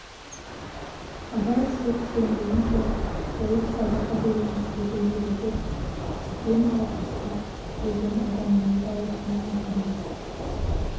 қара ісек семірген соң сойып садақа береміз деді ережеп кем алпысқа келген адамдай дауысын мақамдап